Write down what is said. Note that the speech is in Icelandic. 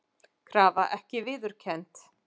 Krafa ekki viðurkennd